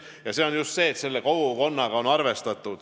Selle põhjus on just see, et on arvestatud kogukondade soovidega.